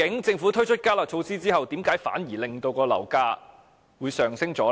政府推出"加辣"措施後，究竟為何反而令到樓價上升呢？